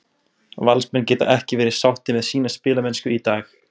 Valsmenn geta ekki verið sáttir með sína spilamennsku í dag.